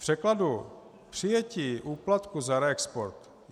V překladu přijetí úplatku za reexport.